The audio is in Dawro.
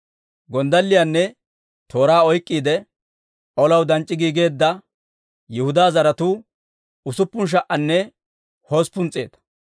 Gonddalliyaanne tooraa oyk'k'iide, olaw danc'c'i giigeedda Yihudaa zaratuu usuppun sha"anne hosppun s'eeta.